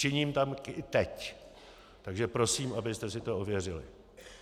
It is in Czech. Činím tak i teď, takže prosím, abyste si to ověřili.